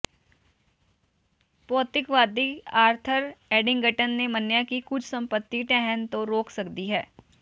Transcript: ਭੌਤਿਕਵਾਦੀ Arthur Eddington ਨੇ ਮੰਨਿਆ ਕਿ ਕੁਝ ਸੰਪੱਤੀ ਢਹਿਣ ਤੋਂ ਰੋਕ ਸਕਦੀ ਹੈ